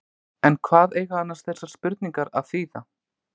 En hvað eiga annars þessar spurningar að þýða?